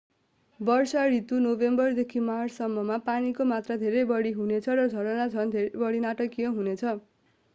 वर्षा ऋतु नोभेम्बरदेखि मार्च सम्म मा पानीको मात्रा धेरै बढी हुनेछ र झरना झन बढी नाटकीय हुनेछ।